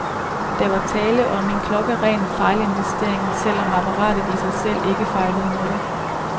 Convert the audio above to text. Der var tale om en klokkeren fejlinvestering, selv om apparatet i sig selv ikke fejlede noget.